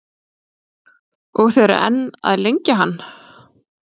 Og þið eruð enn að lengja hann?